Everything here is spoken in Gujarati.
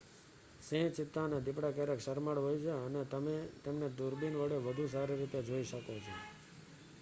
સિંહ ચિત્તા અને દીપડા ક્યારેક શરમાળ હોય છે અને તમે તેમને દૂરબીન વડે વધુ સારી રીતે જોઇ શકો છો